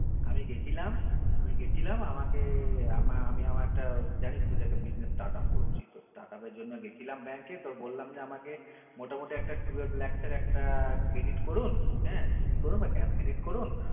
আমি গেছিলাম আমি গেছিলাম আমাকে আমি আমার একটা জানিসতো যে একটা business startup করছি তো startup এর জন্য গেছিলাম bank এ তো বললাম যে আমাকে মোটামোটি একটা twelve lacs এর একটা credit করুন হ্যা cc করুন বা cash credit করুন